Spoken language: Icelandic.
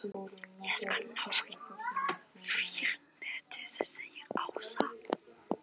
Ég skal ná í vírnetið segir Ása.